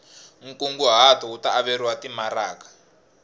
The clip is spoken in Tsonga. nkunguhato wu ta averiwa timaraka